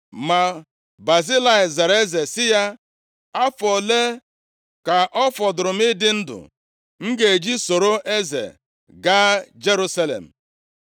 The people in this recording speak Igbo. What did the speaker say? Ma Bazilai zara eze sị ya, “Afọ ole ka ọ fọdụrụ m ịdị ndụ m ga-eji soro eze gaa Jerusalem?